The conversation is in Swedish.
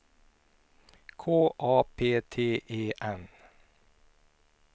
K A P T E N